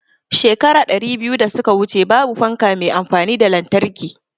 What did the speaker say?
Shekara ɗari uku da suka wuce babu fanka me amfani da lantarki